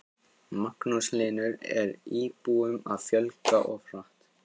Magnús Hlynur: Er íbúum að fjölga of hratt?